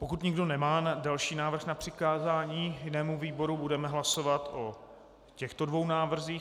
Pokud nikdo nemá další návrh na přikázání jinému výboru, budeme hlasovat o těchto dvou návrzích.